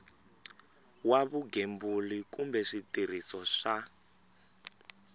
wa vugembuli kumbe switirhiso swa